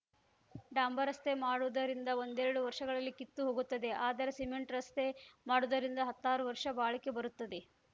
ಡಾಂಬರ ರಸ್ತೆ ಮಾಡುವುದರಿಂದ ಒಂದೆರಡು ವರ್ಷಗಳಲ್ಲಿ ಕಿತ್ತು ಹೋಗುತ್ತದೆ ಆದರೆ ಸೀಮೆಂಟ್ ರಸ್ತೆ ಮಾಡುವುದರಿಂದ ಹತ್ತಾರು ವರ್ಷ ಬಾಳಿಕೆ ಬರುತ್ತದೆ